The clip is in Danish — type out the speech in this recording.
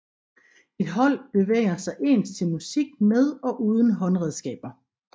Et hold bevæger sig ens til musik med og uden håndredskaber